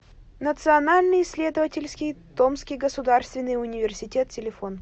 национальный исследовательский томский государственный университет телефон